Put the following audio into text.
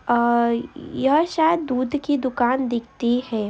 अ यह सायद दूध की दुकान दिखती है।